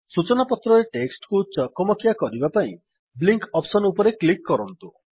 ସୂଚନାପତ୍ରରେ text କୁ ଚକମକିଆ କରିବା ପାଇଁ ବ୍ଲିଙ୍କ୍ ଅପ୍ସସନ୍ ଉପରେ କ୍ଲିକ୍ କରନ୍ତୁ